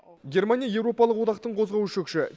германия еуропалық одақтың қозғаушы күші